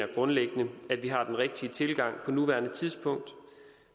vi grundlæggende har den rigtige tilgang på nuværende tidspunkt